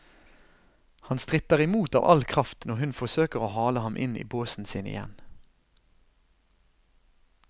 Han stritter i mot av all kraft når hun forsøker å hale ham inn i båsen sin igjen.